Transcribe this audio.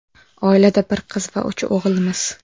Oilada bir qiz va uch o‘g‘ilmiz.